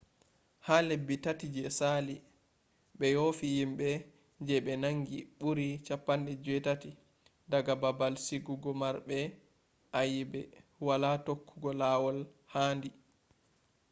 ha lebbi 3 je sali be yofi himbe je be nangi buri 80 daga babal sigugo marbe ayebe wala tokkugo lawol handi